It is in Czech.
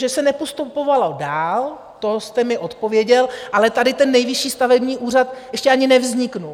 Že se nepostupovalo dál, to jste mi odpověděl, ale tady ten Nejvyšší stavební úřad ještě ani nevznikl.